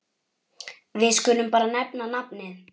Við skulum bara nefna nafnið.